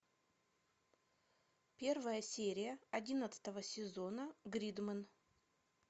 первая серия одиннадцатого сезона гридмен